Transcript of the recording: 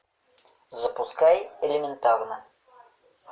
запускай элементарно